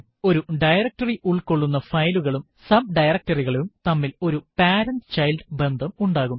ഒരു ഡയറക്ടറി ഉൾകൊള്ളുന്ന ഫയലുകളും subdirectory കളും തമ്മില് ഒരു പേരന്റ് - ചൈൽഡ് ബന്ധം ഉണ്ടാവും